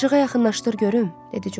İşığa yaxınlaşdır görüm!